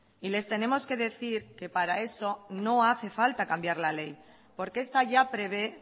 y les tenemos que decir que para eso no hace falta cambiar la ley porque esta ya prevé